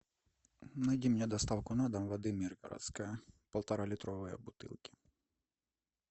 найди мне доставку на дом воды миргородская полторалитровая бутылки